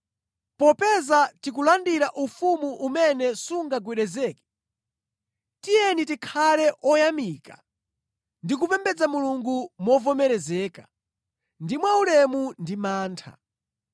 Popeza tikulandira ufumu umene sungagwedezeke, tiyeni tikhale oyamika ndi kupembedza Mulungu movomerezeka ndi mwaulemu ndi mantha.